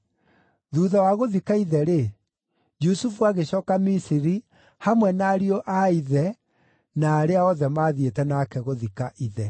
Thuutha wa gũthika ithe-rĩ, Jusufu agĩcooka Misiri hamwe na ariũ a ithe na arĩa othe maathiĩte nake gũthika ithe.